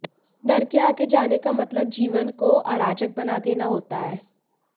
डर के आगे जाने का मतलब जीवन को अराजक बना देना होता है